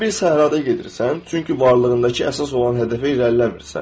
Sən bir səhrada gedirsən, çünki varlığındakı əsas olan hədəfə irəliləmirsən.